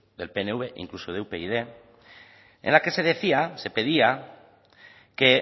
del pnv incluso de upyd en la que se decía se pedía que